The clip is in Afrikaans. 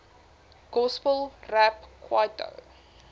gospel rap kwaito